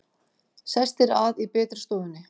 Sestir að í betri stofunni!